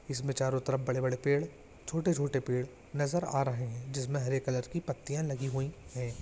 इसमे चारों तरफ बड़े-बड़े पेड़ छोटे-छोटे पेड़ नज़र आ रहे है जिसमे हरे कलर की पत्तिया लगी हुई है।